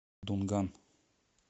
дунган